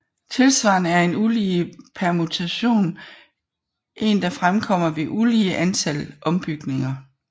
Tilsvarende er en ulige permutation en der fremkommer ved et ulige antal ombytninger